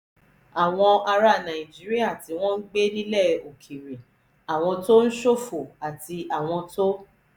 àwọn ará nàìjíríà tí wọ́n ń gbé nílẹ̀ òkèèrè àwọn tó ń ṣòfò àti àwọn tó